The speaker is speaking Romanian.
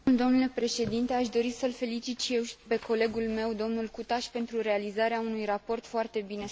Aș dori să îl felicit și eu pe colegul meu, domnul Cutaș, pentru realizarea unui raport foarte bine structurat.